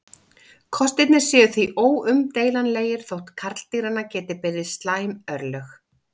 Kostirnir séu því óumdeilanlegir þótt karldýranna geti beði slæm örlög.